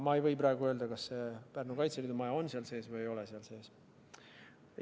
Ma ei või praegu öelda, kas Pärnu Kaitseliidu maja on seal sees või ei ole seal sees.